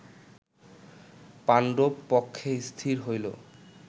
পাণ্ডব পক্ষে স্থির হইল